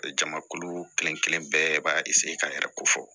Jamakulu kelen kelen bɛɛ b'a ka yɛrɛ ko fɔ